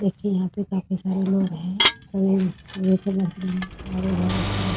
देखिए यहाँ पे काफी सारे लोग हैं |